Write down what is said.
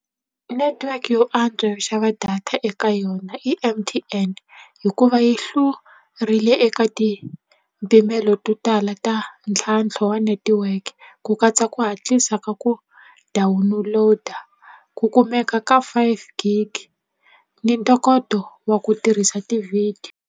Netiweke yo antswa yo xava data eka yona i M_T_N hikuva yi hlurile eka ti mpimelo to tala ta ntlhantlho wa netiweke ku katsa ku hatlisa ka ku download-a ku kumeka ka five gig ni ntokoto wa ku tirhisa ti-video.